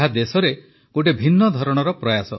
ଏହା ଦେଶରେ ଗୋଟିଏ ଭିନ୍ନ ଧରଣର ପ୍ରୟାସ